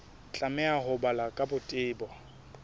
tlameha ho balwa ka botebo